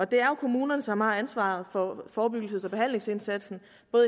det er jo kommunerne som har ansvaret for forebyggelses og behandlingsindsatsen